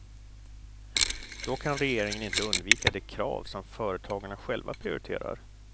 Då kan regeringen inte undvika de krav som företagarna själva prioriterar.